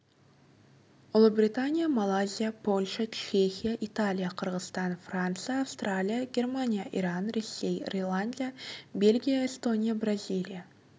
ұлыбритания малайзия польша чехия италия қырғызстан франция австралия германия иран ресей ирландия бельгия эстония бразилия